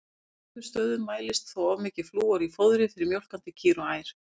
Á tveimur stöðum mælist þó of mikið flúor í fóðri fyrir mjólkandi kýr og ær.